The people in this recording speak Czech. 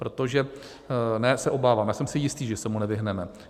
Protože - ne se obávám, já jsem si jistý, že se mu nevyhneme.